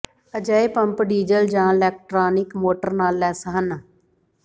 ਅਜਿਹੇ pump diesel ਜ electric motor ਨਾਲ ਲੈਸ ਹਨ